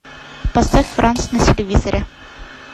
поставь франц на телевизоре